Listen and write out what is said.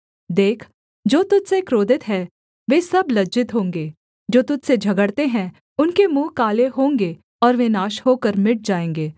देख जो तुझ से क्रोधित हैं वे सब लज्जित होंगे जो तुझ से झगड़ते हैं उनके मुँह काले होंगे और वे नाश होकर मिट जाएँगे